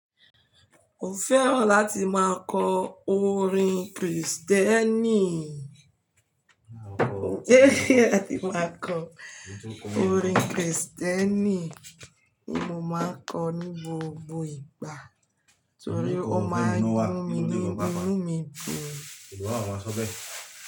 Mo fẹ́ràn láti máa kọ orin Kristẹni, mo fẹ́ràn láti máa kọ orin Kristẹni, ní mo máa kọ ní gbogbo ìgbà torí ó máa ń mú mi lóbìí, mú mi gùn.